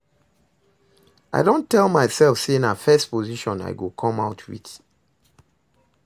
I don tell myself say na first position I go come out with